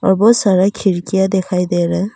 बहुत सारा खिड़कियां दिखाई दे रहा--